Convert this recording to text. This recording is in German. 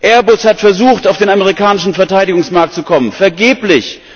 Airbus hat versucht, auf den amerikanischen Verteidigungsmarkt zu kommen vergeblich!